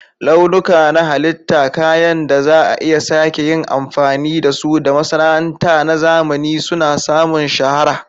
Launuka na halitta, kayan da za a iya sake yin amfani da su, da masana'anta na zamani suna samun shahara.